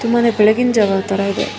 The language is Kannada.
ತುಂಬಾನೇ ಬೆಳಗ್ಗಿನ ಜಾವಾ ತರ ಇದೆ--